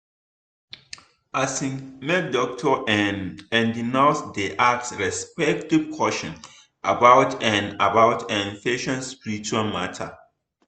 asin make doctor[um]and nurse dey ask respectful question about[um]about[um]patient spiritual matter.